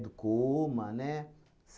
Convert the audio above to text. Do coma, né?